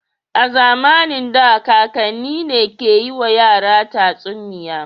A zamanin da kakanni ne ke yiwa yara tatsuniya.